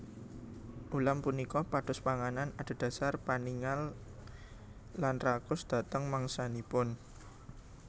Ulam punika pados panganan adhedhasar paningal lan rakus dhateng mangsanipun